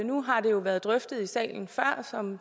nu har det jo været drøftet i salen før som